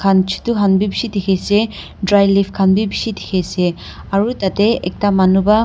chuttu khan b bishi dikhi ase dry leaf khan b bishi dikhi ase aro tade ekta manu para--